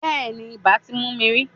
Bẹ́ẹ̀ni, ibà ti mú mi rí.